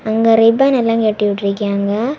அங்க ரிப்பன் எல்லாம் கட்டி விட்ருக்காங்க.